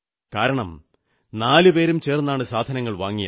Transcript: കാരണം നാലുപേരും ചേർന്നാണ് സാധനങ്ങൾ വാങ്ങിയത്